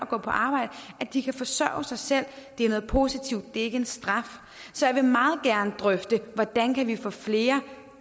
gå på arbejde at de kan forsørge sig selv det er noget positivt det ikke en straf så jeg vil meget gerne drøfte hvordan vi kan få flere